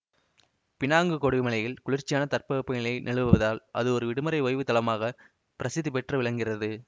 Penang கொடி மலையில் குளிர்ச்சியான தட்பவெப்ப நிலை நிலவுவதால் அது ஒரு விடுமுறை ஓய்வுத் தளமாக பிரசித்தி பெற்று விளங்குகிறது